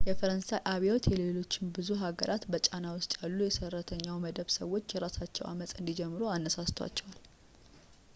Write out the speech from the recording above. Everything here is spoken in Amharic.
የፈረንሣይ አብዮት የሌሎች ብዙ አገራት በጫና ውስጥ ያሉ የሰራተኛው መደብ ሰዎች የራሳቸውን ዐመፅ እንዲጀምሩ አነሳስቷቸዋል